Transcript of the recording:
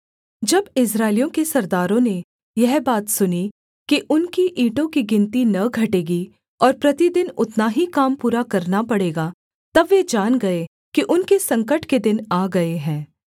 जब इस्राएलियों के सरदारों ने यह बात सुनी कि उनकी ईंटों की गिनती न घटेगी और प्रतिदिन उतना ही काम पूरा करना पड़ेगा तब वे जान गए कि उनके संकट के दिन आ गए हैं